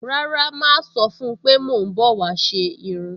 Rárá, màá sọ fún-un pé mò ń bọ̀ wá ṣe irun